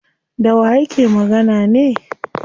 Dawa yake magana ne?